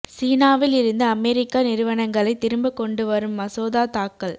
சீனாவில் இருந்து அமெரிக்க நிறுவனங்களை திரும்ப கொண்டு வரும் மசோதா தாக்கல்